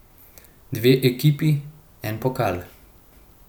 Dve ekipi, en pokal.